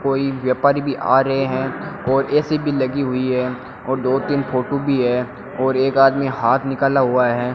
कोई व्यापारी भी आ रहे हैं और ए_सी भी लगी हुई है और दो तीन फोटो भी है और एक आदमी हाथ निकाला हुआ है।